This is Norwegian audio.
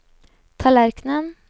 tallerkenen